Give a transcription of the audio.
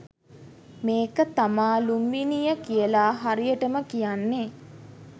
මේක තමා ලුම්බිණිය කියලා හරියටම කියන්නෙ.